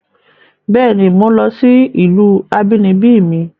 Béèni, mò ń lọ sí ìlú abínibí mi